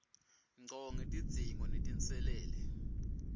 ngco ngetidzingo netinselele